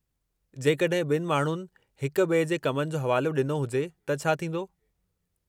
जेकड॒हिं ॿिनि माण्हुनि हिक ॿिए जे कमनि जो हवालो ॾिनो हुजे त छा थींदो?